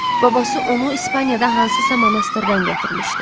Babası onu İspaniyada hansısa monastırdan gətirmişdi.